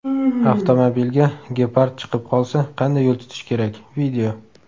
Avtomobilga gepard chiqib qolsa qanday yo‘l tutish kerak: video.